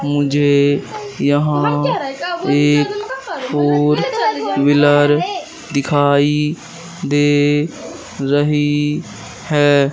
मुझे यहां एक फोर व्हीलर दिखाई दे रही है।